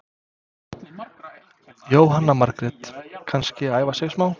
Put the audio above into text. Jóhanna Margrét: Kannski að æfa sig smá?